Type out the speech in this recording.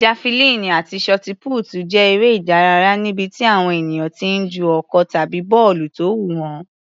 Jafulíìnì àti ṣọtipútì jẹ́ eré ìdárayá níbi tí àwọn ènìyàn ti ń ju ọ̀kọ̀ tàbí bọ́ọ̀lù tó wúwo.